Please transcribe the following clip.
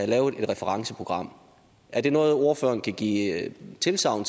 lavet et referenceprogram er det noget ordføreren kan give tilsagn